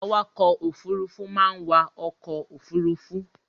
Awakọ̀-òfurufú máa ń wa ọkọ̀ ofurufú.